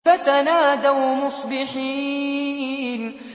فَتَنَادَوْا مُصْبِحِينَ